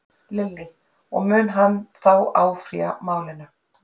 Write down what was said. Lillý: Og hann mun þá áfrýja málinu?